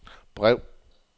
brev